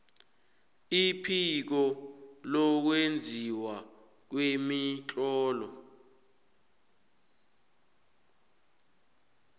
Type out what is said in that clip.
iphiko lokwenziwa kwemitlolo